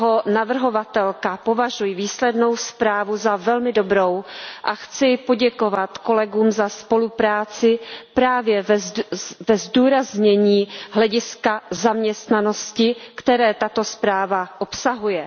Jako jeho navrhovatelka považuji výslednou zprávu za velmi dobrou a chci poděkovat kolegům za spolupráci právě ve zdůraznění hlediska zaměstnanosti, které tato zpráva obsahuje.